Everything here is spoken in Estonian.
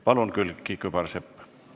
Palun, Külliki Kübarsepp!